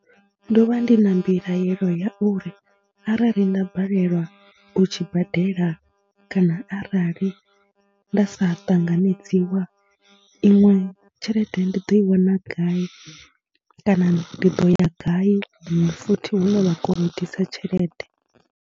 Ndo vha ndi na mbilaelo ya uri arali nda balelwa u tshi badela kana arali nda sa ṱanganedziwa, iṅwe tshelede ndi ḓo i wana gai kana ndi ḓo ya gai huṅwe futhi hune vha kolodisa tshelede.